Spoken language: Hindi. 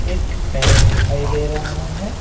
एक पेन दिखाई दे रहा है।